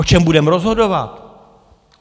O čem budeme rozhodovat?